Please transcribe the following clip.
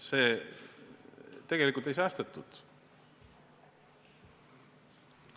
Tegelikult ei säästetud.